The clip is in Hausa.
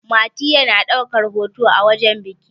mati yana daukar hoto a wajen biki